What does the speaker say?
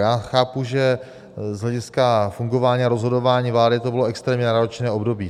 Já chápu, že z hlediska fungování a rozhodování vlády to bylo extrémně náročné období.